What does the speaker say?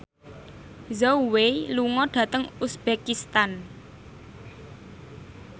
Zhao Wei lunga dhateng uzbekistan